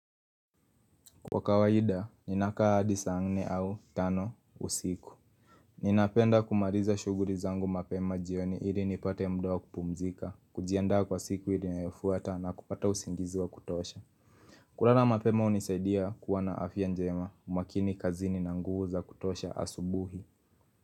Kwa kawaida, ninakaa hadi saa nne au tano usiku. Ninapenda kumaliza shughuli zangu mapema jioni ili nipate muda wa kupumzika, kujiandaa kwa siku ile inayofuata na kupata usingizi wa kutosha Kuala mapema hunisaidia kuwa na afya njema, umakini kazini na nguvu za kutosha asubuhi.